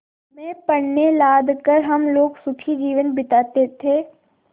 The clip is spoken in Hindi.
में पण्य लाद कर हम लोग सुखी जीवन बिताते थे